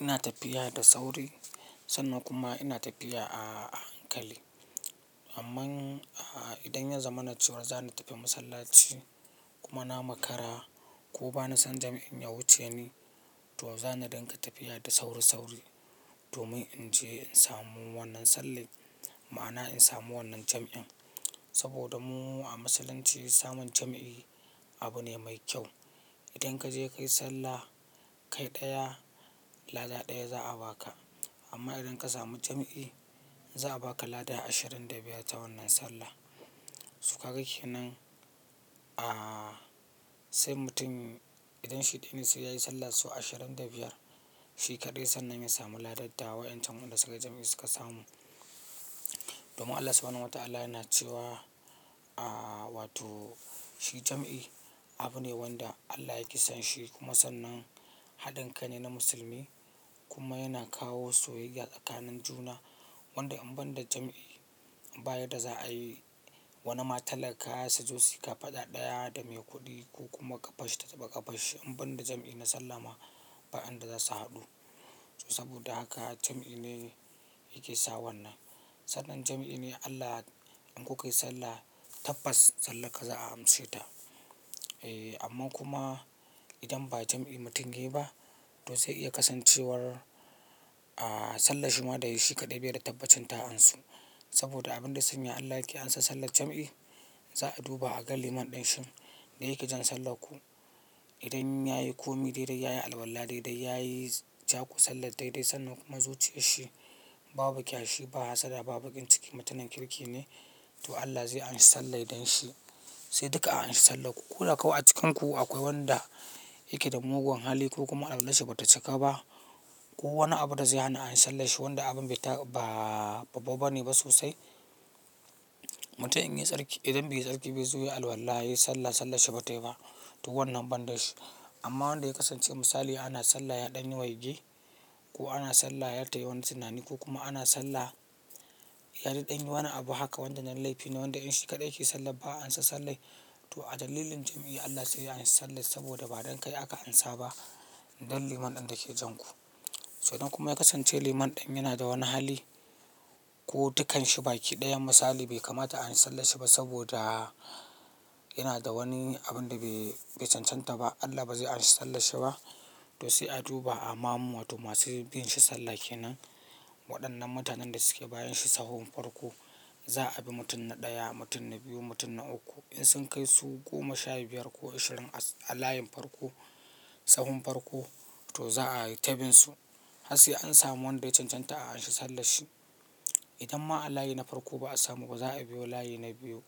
Ina tafiya da sauri sannan kuma ina tafiya a hankali. Amma idan ya zama na cewa za ni tafi masallaci kuma na makara ko ba na san jam'in ya wuce ni to zan dinga tafiya da sauri-sauri domin in je in samu wannan sallah. Ma'ana in samu wannan jam'in. Saboda mu a Musulunci samun jam'i abu ne mai kyau. Idan ka je ka yi sallah kai ɗaya, lada ɗaya za a baka. Amma idan ka samu jam'i, za a baka lada ashirin da biyar ta wannan sallah. Sukaga kenan, sai mutum idan shi ɗaya ne sai yayi sallah sau ashirin da biyar. Shi kaɗai sannan ya samu ladadda waɗancen wanda suka yi jam'i suka samu. Domin Allah Subhanahu wa Ta'ala yana cewa, wato shi jam'i abu ne wanda Allah yake son shi kuma sannan haɗin kai ne na musulmi kuma yana kawo soyayya tsakanin juna. Wanda in ban da jam'i, baya da za a yi wani matallaka suzo sayi ka faɗa ɗaya da mai kuɗi ko kuma ƙafashi ta ta taba ƙafashi. In ban da jam'i na sallah ma, ba in da za su haɗu. To saboda haka jam'i ne yake sa wannan. Sannan jam'i ne Allah in ku kai sallah, tabbas sallar ka za a amshe ta. Eh, amma kuma idan ba jam'i mutum ya yi ba, to zai iya kasancewar a sallah shi ma da shi kaɗai bai da tabbacin ta ansu. Saboda abun da ya sanya Allah yake ansar sallar jam'i, za a duba a ga liman ɗin shin da yake jan sallar ku. Idan ya yi komi daidai, ya yi alwala daidai, ya yi jaku sallar daidai sannan kuma zuciyar shi babu bakyashi, ba hassada, babu bakin ciki, mutanen kirki ne to Allah zai amshi sallah don shi. Sai duka a amshi sallar ku. Ko da kau a cikinku akwai wanda yake da mugun hali ko kuma alwallashi bata cika ba ko wani abu da zai hana a amshi sallanshi wanda abun bai babba bane ba sosai. Mutum indan baiyi tsarki ba yazo yayi alwalla yayi sallah, sallar shi ba tai ba wannan banda shi. Amma wanda ya kasance misali ana sallah ya ɗanyi waigi ko ana sallah ya tayi wani tunani ko kuma ana sallah ya yi ɗanyi wani abu haka wajen yan laifi na wanda in shi kaɗai yake sallah ba a ansa sallah. To adalilin jam'i he Allah sai ya amshi sallah, saboda ba don kai aka ansa ba, don liman din dake janku, to idan kuma yakasance liman din yanada wani hali. Ko dukanshi baki ɗayan misali bai kamata a anshi sallanshi ba saboda yana da wani abun da bai cancanta ba. Allah ba zai amshi sallanshi ba. To sai a duba a mamu wato masu bin shi sallah ke nan. Waɗannan mutanen da suke bayan shi sahon farko za a bi mutum na ɗaya, mutum na biyu, mutum na uku. In sun kai su goma sha biyar ko ashirin a layin farko, tsahon farko to za a yi ta binsu. Har sai an samu wanda ya cancanta a anshi sallanshi. Idan ma a layi na farko ba a sanu ba za a biyo layi na biyu.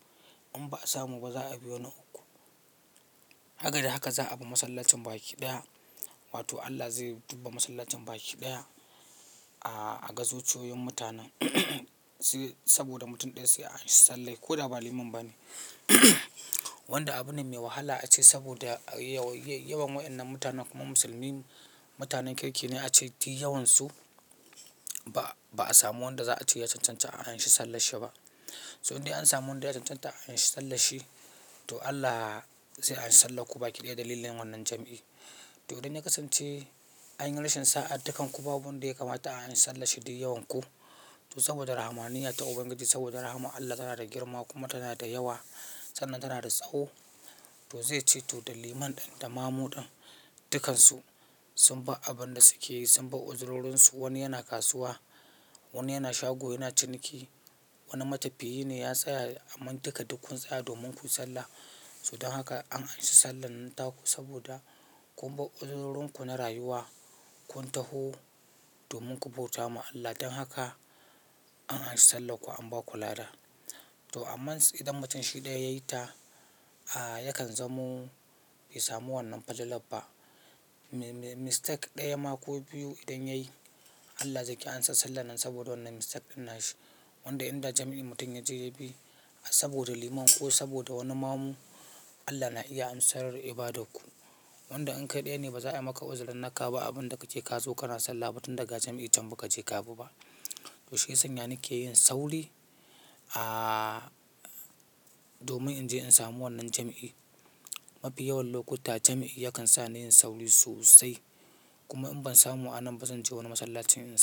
In ba a samu ba za a biyo na uku. Haka da haka za a bi masallacin baki ɗaya wato Allah zai dubba masallacin baki ɗaya a gazociyoyin mutanen. Sai saboda mutum ɗaya sai a anshi sallah ko da ba liman ba ne. Wanda abune mai wahala ace saboda yawan waɗannan mutanen kuma musulmin mutanen kirki ne ace duk yawansu ba a samu wanda za a ce ya cancanci a anshi sallanshi ba. In dai an samu wanda ya cancanta a anshi sallanshi to Allah zai anshi sallar ku baki ɗaya dalilin wannan jam'i. To idan ya kasance anyi rashin sa'a dukkan ku babu wanda ya kamata a anshi sallanshi duk yawan ku to saboda rahmaniyyar Ubangiji saboda rahman Allah tana da girma kuma tana da yawa sannan tana da tsawo to zai ce to liman ɗin da mamu ɗin duk kansu sunbar abunda sukeyi su sun bar uzurorinsu. Wani yana kasuwa, wani yana shago, yana ciniki, wani matafiyi ne ya tsaya amma duka duk sun tsaya domin kuyi sallah. Sa don haka an anshi sallar nan taku saboda kun ba uzurorinku na rayuwa, kun taho domin ku bauta ma Allah. Dan haka an anshi sallar ku an ba ku lada. To amma idan mutum shi ɗaya ya yi ta, yakan zamo bai samu wannan falalaf ba. Mistake ɗaya ma ko biyu idan ya yi Allah zai ƙi ansa sallar nan saboda wannan mistake ɗin nashi. Wanda idan da jam'i mutum ya je ya bi saboda liman ko saboda wani mamu Allah na iya ansar ibadar ku. Wanda in kai ɗaya ne ba za a yi maka uzurin naka ba abun da kake ka zo kana sallah ba tun daga jam'i can ba ka je ka bi ba. To shi ya sanya ni ke yin sauri domin in je in samu wannan jam'i. Mafi yawan lokutta jam'i yakan sa ni yin sauri sosai. Kuma in ban samu a nan ba zan je wani masallacin in.